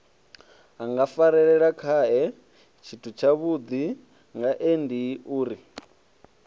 a ngafarelelakhae tshithutshavhudi ngaendiuri o